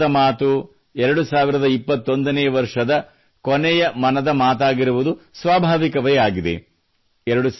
ಮುಂದಿನ ಮನದ ಮಾತು 2021ನೇ ವರ್ಷದ ಕೊನೆಯ ಮನದ ಮಾತಾಗಿರುವುದು ಸ್ವಾಭಾವಿಕವೇ ಆಗಿದೆ